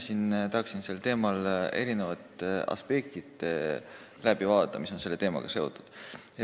Mina tahan siin läbi vaadata erinevad aspektid, mis on selle teemaga seotud.